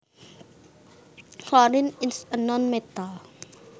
Chlorine is a nonmetal